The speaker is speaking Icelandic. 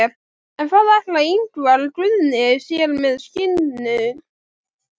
En hvað ætlar Ingvar Guðni sér með skinnurnar?